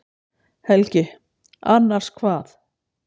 Helgi: Annars hvað?